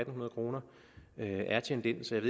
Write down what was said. hundrede kroner er tjent ind så jeg